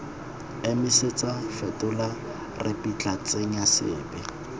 emisetsa fetola ripitla tsenya sepe